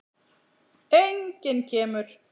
Enginn kemur.